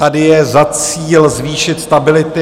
Tady je za cíl zvýšit stabilitu...